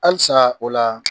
Halisaa o laa